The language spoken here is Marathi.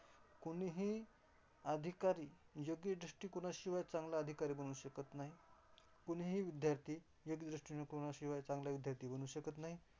कुणीही अधिकारी योग्य दृष्टीकोनाशिवाय चांगला अधिकारी बनू शकत नाही. कुणीही विद्यार्थी योग्य दृष्टीकोनाशिवाय चांगला विद्यार्थी बनू शकत नाही.